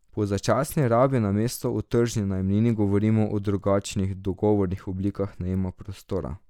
Pri začasni rabi namesto o tržni najemnini govorimo o drugačnih dogovornih oblikah najema prostora.